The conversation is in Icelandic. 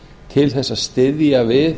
til þess að styðja við